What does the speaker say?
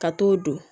Ka t'o don